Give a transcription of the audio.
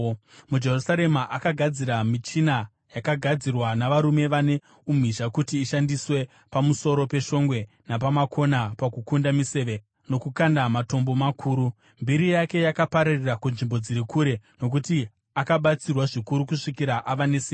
MuJerusarema akagadzira michina yakagadzirwa navarume vane umhizha kuti ishandiswe pamusoro peshongwe napamakona pakukanda miseve nokukanda matombo makuru. Mbiri yake yakapararira kunzvimbo dziri kure, nokuti akabatsirwa zvikuru kusvikira ava nesimba.